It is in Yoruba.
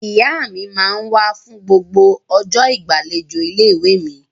Ìyá mi máa ń wá fún gbogbo ọjọ́ ìgbàlejò ilé-ìwé mi.